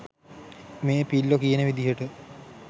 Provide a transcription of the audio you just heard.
මේ පිල්ලො කියන විදිහට